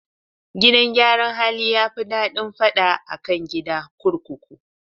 Gidan yaran hali yafi daɗin fada akan gida kurkuku